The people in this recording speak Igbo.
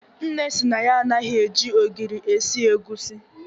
Nne sị na ya anaghị eji ogiri esi egusi.